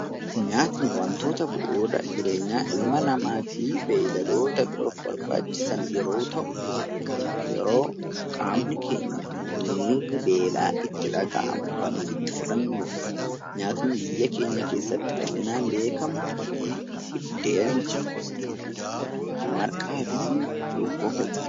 Nyaatni wantoota bu'uura ilma namaa fi beeyladoota biroof barbaachisan yeroo ta'u, yeroo qaamni keenya miirri beela itti dhaga'amu kan ofitti fudhannudha. Nyaatni biyya keenya keessatti bal'inaan beekamu biddeen, marqaa fi cuukkoo fa'i.